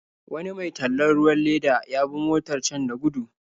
Wani mai tallan ruwan leda ya bi motar can da gudu.